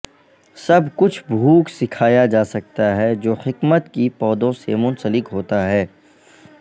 سب کچھ بھوک سکھایا جا سکتا ہے جو حکمت کی پودوں سے منسلک ہوتا ہے